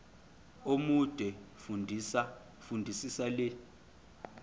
omude fundisisa le